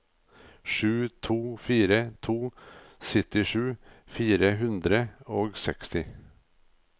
sju to fire to syttisju fire hundre og seksti